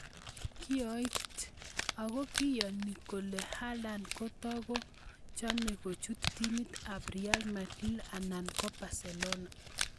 (kioit) Ako kiyoni kole Haaland kotoko chome kochut timit ab Real Madrid anan Barcelona.